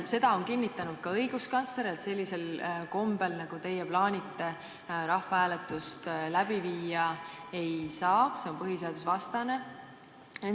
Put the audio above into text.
Seda on kinnitanud ka õiguskantsler, et sellisel kombel, nagu teie plaanite, rahvahääletust läbi viia ei saa, see on põhiseadusvastane.